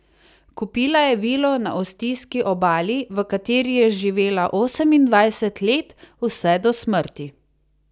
Kupila je vilo na ostijski obali, v kateri je živela osemindvajset let, vse do smrti.